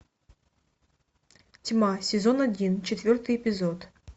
тьма сезон один четвертый эпизод